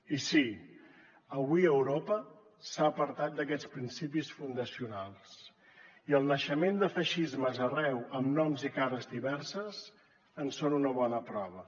i sí avui europa s’ha apartat d’aquests principis fundacionals i el naixement de feixismes arreu amb noms i cares diverses en són una bona prova